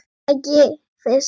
Er það ekki Fis?